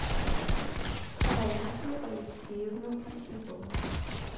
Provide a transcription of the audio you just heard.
раису алексеевну осипову